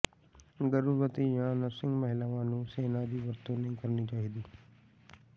ਗਰਭਵਤੀ ਜਾਂ ਨਰਸਿੰਗ ਮਹਿਲਾਵਾਂ ਨੂੰ ਸੇਨਾ ਦੀ ਵਰਤੋਂ ਨਹੀਂ ਕਰਨੀ ਚਾਹੀਦੀ